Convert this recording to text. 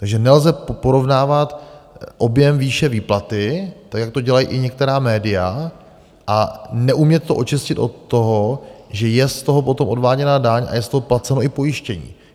Takže nelze porovnávat objem výše výplaty tak, jak to dělají i některá média, a neumět to očistit od toho, že je z toho potom odváděna daň a je z toho placeno i pojištění.